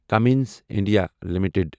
Cummins India limited